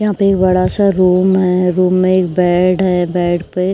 यहाँ पे एक बड़ा सा रूम है। रूम में एक बेड है। बेड पे --